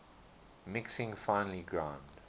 mixing finely ground